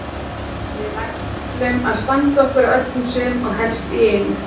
Við ætlum að standa okkur á öllum sviðum og helst í einu.